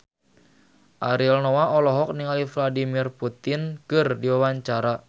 Ariel Noah olohok ningali Vladimir Putin keur diwawancara